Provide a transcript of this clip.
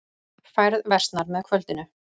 Færð versnar með kvöldinu